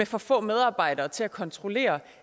for få medarbejdere til at kontrollere